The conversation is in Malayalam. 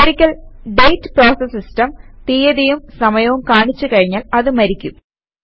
ഒരിക്കൽ ഡേറ്റ് പ്രോസസ് സിസ്റ്റം തീയതിയും സമയവും കാണിച്ച് കഴിഞ്ഞാൽ അത് മരിക്കും